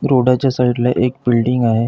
रोडाच्या side ला एक building आहे.